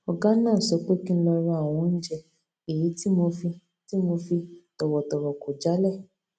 ògá náà sọ pé kí n lọ ra àwọn oúnjẹ èyí tí mo fi tí mo fi tọwọtọwọ kò jálè